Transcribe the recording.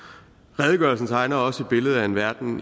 redegørelsen tegner også et billede af en verden